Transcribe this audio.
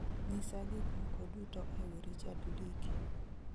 nyisa gik moko duto ewi richard likey